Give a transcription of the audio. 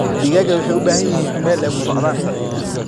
Digaagga waxay u baahan yihiin meel ay ku socdaan.